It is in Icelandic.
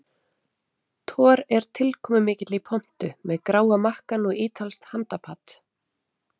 Thor er tilkomumikill í pontu með gráa makkann og ítalskt handapat.